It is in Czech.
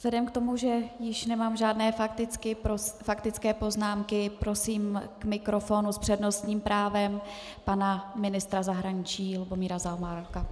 Vzhledem k tomu, že již nemám žádné faktické poznámky, prosím k mikrofonu s přednostním právem pana ministra zahraničí Lubomíra Zaorálka.